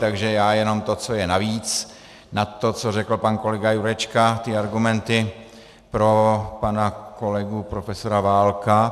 Takže já jenom to, co je navíc nad to, co řekl pan kolega Jurečka, ty argumenty pro pana kolegu profesora Válka.